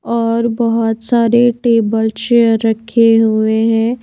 और बहुत सारे टेबल चेयर रखे हुए हैं।